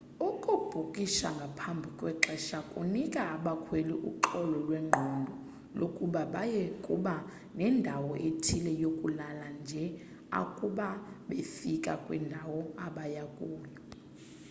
ukubhukisha ngaphambi kwexesha kunika abakhweli uxolo lwengqondo lokuba baya kuba nendawo ethile yokulala nje akuba befika kwindawo abaya kuyo